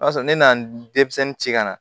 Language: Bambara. O y'a sɔrɔ ne nana denmisɛnnin ci kana